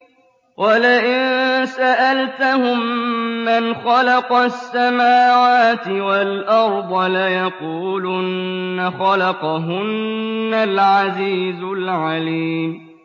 وَلَئِن سَأَلْتَهُم مَّنْ خَلَقَ السَّمَاوَاتِ وَالْأَرْضَ لَيَقُولُنَّ خَلَقَهُنَّ الْعَزِيزُ الْعَلِيمُ